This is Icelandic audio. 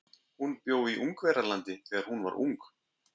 Hún bjó í Ungverjalandi þegar hún var ung.